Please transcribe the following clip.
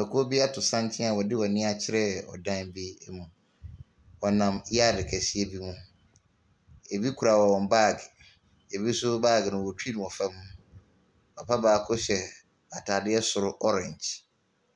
Ekuo bi ato santene a wɔde wɔn ani akyerɛ ɔdan bi mu. Wɔnam yard kɛseɛ bi mu. Ebi kura wɔn bag, ebi nso bage no wɔtwi no wɔ fam. Papa baako hyɛ atadeɛ soro orange